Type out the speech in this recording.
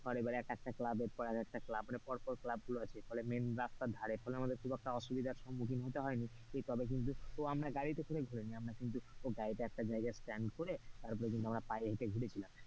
তার এক একটা ক্লাবের পর এক একটা ক্লাব মানে ক্লাব গুলো আছে ফলে main রাস্তায় ধারে, ফলে আমাদের খুব একটা অসুবিধা সম্মুখীন হতে হয়নি। তবে আমরা সবাই গাড়িতে গাড়িতে একটা জায়গা stand করে তারপর কিন্তু আমরা পায়ে হেটে ঘুরেছিলাম।